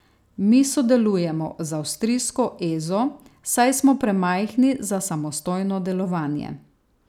Mi sodelujemo z avstrijsko Ezo, saj smo premajhni za samostojno delovanje.